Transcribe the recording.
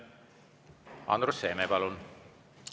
Andrus Seeme, palun!